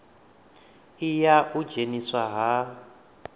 i ya u dzheniswa ha